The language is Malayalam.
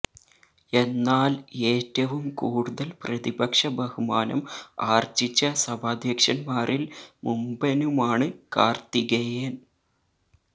എന്നാല് ഏറ്റവും കൂടുതല് പ്രതിപക്ഷ ബഹുമാനം ആര്ജിച്ച സഭാധ്യക്ഷന്മാരില് മുമ്പനുമാണ് കാര്ത്തികേയന്